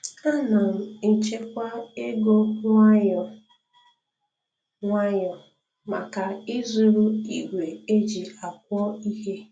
Ana m echekwa ego nwayọ nwayọ maka ịzụrụ igwe eji akwọ ihe